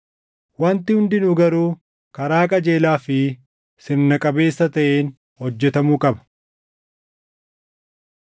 Wanti hundinuu garuu karaa qajeelaa fi sirna qabeessa taʼeen hojjetamuu qaba.